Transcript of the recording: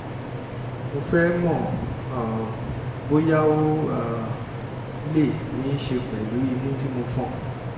mo fẹ́ mọ̀ um bóyá ó um lè ní í ṣe pẹ̀lú imú tí mo fọn?